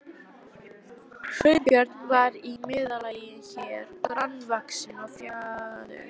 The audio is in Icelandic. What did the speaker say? Sveinbjörn var í meðallagi hár, grannvaxinn og fjaður